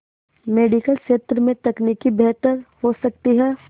medical क्षेत्र में तकनीक बेहतर हो सकती है